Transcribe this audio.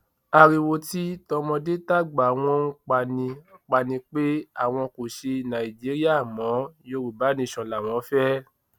ariwo tí tọmọdé tàgbà wọn ń pa ni pa ni pé àwọn kò ṣe nàìjíríà mọ yorùbá nation làwọn fẹ